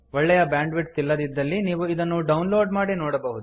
ಒಳ್ಳೆಯ bandwidth ಇಲ್ಲದಿದ್ದಲ್ಲಿ ನೀವು ಇದನ್ನು ಡೌನ್ ಲೋಡ್ ಮಾಡಿ ನೋಡಬಹುದು